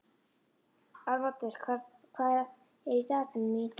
Arnoddur, hvað er í dagatalinu mínu í dag?